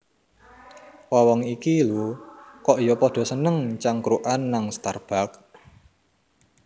Wong wong iki lho kok yo podo seneng cangkrukan nang Starbucks